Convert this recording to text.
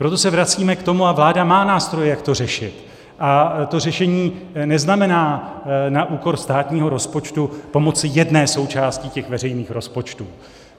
Proto se vracíme k tomu, a vláda má nástroje, jak to řešit, a to řešení neznamená na úkor státního rozpočtu pomocí jedné součásti těch veřejných rozpočtů.